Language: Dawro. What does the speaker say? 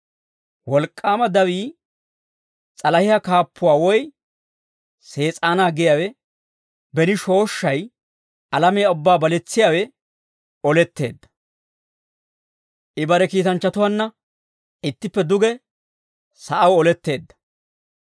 Wolk'k'aama dawii, s'alahiyaa kaappuwaa woy Sees'aanaa giyaawe, beni shooshshay, alamiyaa ubbaa baletsiyaawe oletteedda; I bare kiitanchchatuwaanna ittippe duge sa'aw oletteedda.